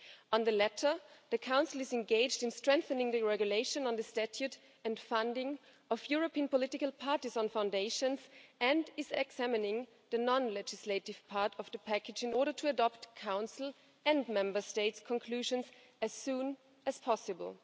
On the latter, the Council is engaged in strengthening the EU Regulation on the Statute and Funding of European Political Parties and Foundations and is examining the non-legislative part of the package in order to adopt conclusions from the Council and Member States as soon as possible.